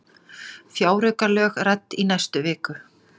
Fjáraukalög rædd í næstu viku